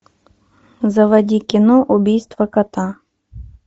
заводи кино убийство кота